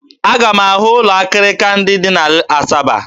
Aga m aga hụ ụlọ akịrịka ndị dị na Asaba